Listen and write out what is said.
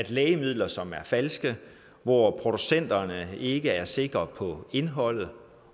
lægemidler som er falske hvor producenterne ikke er sikre på indholdet og